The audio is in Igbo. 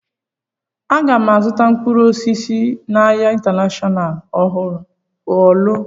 Aga m azụta mkpụrụ osisi n'ahia Intanashọnal Ọọlụ?